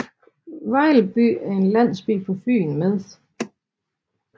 Vejlby er en landsby på Fyn med